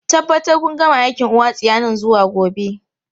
Tabbatar kun gama aikin uwa tsiya nan zuwa gobe!